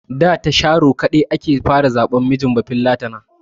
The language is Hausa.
Da ta sharo kaɗa ake zaɓan mijin bafillatana.